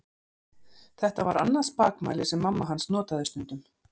Þetta var annað spakmæli sem mamma hans notaði stundum.